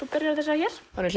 byrjar á þessari hér áður en